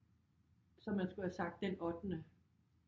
Så man skulle have sagt den ottende